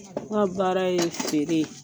N ka baara ye feere.